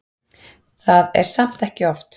Það er samt ekki oft.